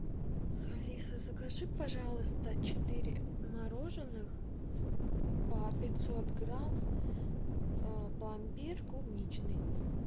алиса закажи пожалуйста четыре мороженых по пятьсот грамм пломбир клубничный